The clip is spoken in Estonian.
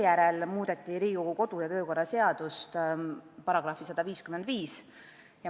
Pärast seda Riigikogu kodu- ja töökorra seaduse § 155 muudeti.